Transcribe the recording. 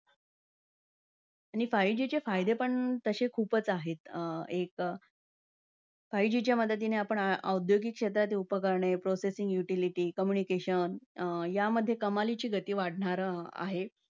आणि five G चे फायदे पण तसे खूपच आहेत. एक अं five G च्या मदतीने आपण आ~ औद्यगिक क्षेत्रांतील उपकरणे, processing utility communication अं यांमध्ये कमालीची गती वाढणार आहे.